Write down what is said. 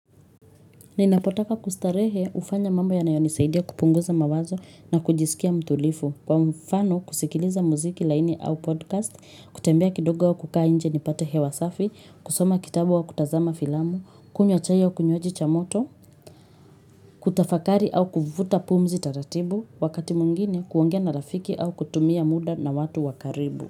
Ninapotaka kustarehe hufanya mambo yanayonisaidia kupunguza mawazo na kujisikia mtulivu kwa mfano kusikiliza muziki laini au podcast, kutembea kidogo au kukaa nje nipate hewa safi, kusoma kitabu au kutazama filamu, kunywa chai au kinywaji cha moto, kutafakari au kuvuta pumzi taratibu, wakati mwingine kuongea na rafiki au kutumia muda na watu wa karibu.